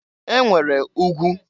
E nwere ugwu.